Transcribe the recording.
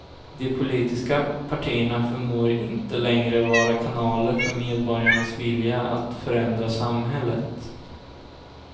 De politiska partierna förmår inte längre vara kanaler för medborgarnas vilja att förändra samhället.